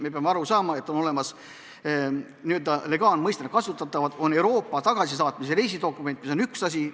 Me peame aru saama, et on olemas ja n-ö legaalmõistena kasutatav Euroopa tagasisaatmise reisidokument, mis on üks asi.